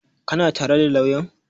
Ka na tare da lauyan?